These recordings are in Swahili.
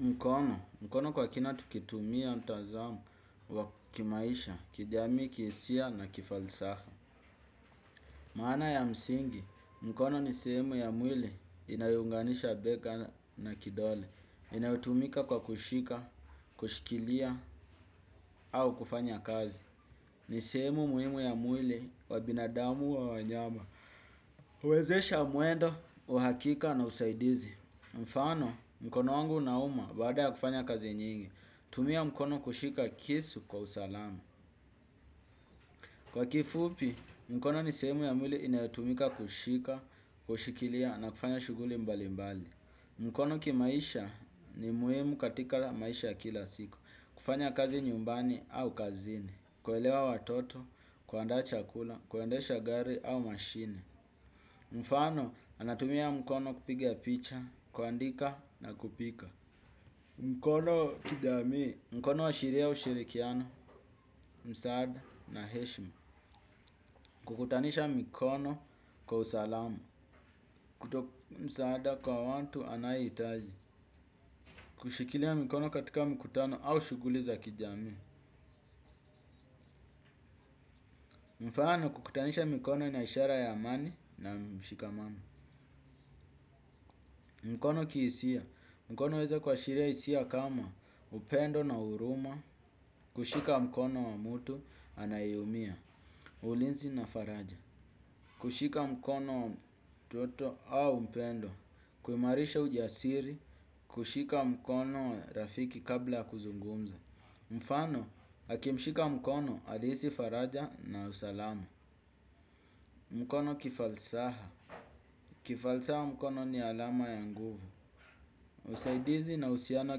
Mkono. Mkono kwa kina tukitumia mtazamo wa kimaisha, kijamii, kihisia na kifalsafa. Maana ya msingi, mkono ni sehemu ya mwili inayounganisha bega na kidole. Inayotumika kwa kushika, kushikilia, au kufanya kazi. Ni sehemu muhimu ya mwili wa binadamu au wanyama. Huwezesha mwendo wa hakika na usaidizi. Mfano, mkono wangu unauma baada ya kufanya kazi nyingi. Tumia mkono kushika kisu kwa usalama. Kwa kifupi, mkono ni sehemu ya mwili inayotumika kushika, kushikilia na kufanya shughuli mbali mbali. Mkono kimaisha ni muhimu katika maisha ya kila siku. Kufanya kazi nyumbani au kazini. Kuelewa watoto, kuandaa chakula, kuendesha gari au mashine. Mfano, anatumia mkono kupiga picha, kuandika na kupika. Mkono kijamii: Mkono huashiria ushirikiano. Msaada na heshima. Kukutanisha mikono kwa usalamu. Kutoa msaada kwa watu anayehitaji. Kushikilia mikono katika mikutano au shughuli za kijami. Mfano, kukutanisha mikono ni ishara ya amani na mshikamano. Mkono kihisia: Mkono huweza kuashiria hisia kama upendo na huruma. Kushika mkono wa mtu anayeumia. Ulinzi na faraja. Kushika mikono wa mtu yeyote au mpendwa. Kuimarisha ujasiri, kushika mkono rafiki kabla ya kuzungumza. Mfano, akimshika mkono alihisi faraja na usalama. Mkono kifalsaha: Kifalsaha mkono ni alama ya nguvu. Usaidizi na uhusiano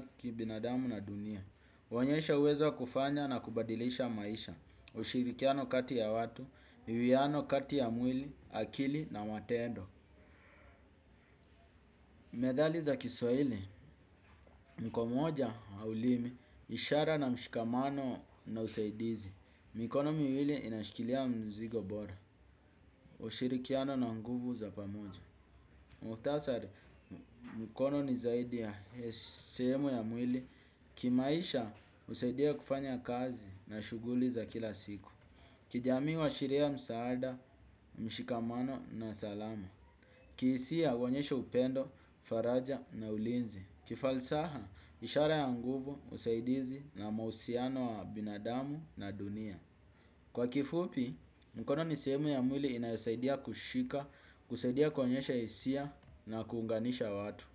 kibinadamu na dunia. Kuonyesha uwezo wa kufanya na kubadilisha maisha. Ushirikiano kati ya watu ni uiano kati ya mwili, akili na matendo. Methali za kiswaili: Mkono moja, haulimi, ishara na mshikamano na usaidizi. Mikono miwili inashikilia mzigo bora. Ushirikiano na nguvu za pamoja. Muhktasari: mkono ni zaidi ya sehemu ya mwili. Kimaisha, husaidia kufanya kazi na shughuli za kila siku. Kijamii huashiria msaada, mshikamano na salama. Kihisia, huonyesha upendo, faraja na ulinzi. Kifalsaha, ishara ya nguvu, usaidizi na mahusiano ya binadamu na dunia. Kwa kifupi, mkono ni sehemu ya mwili inayosaidia kushika, kusaidia kuonyesha hisia na kuunganisha watu.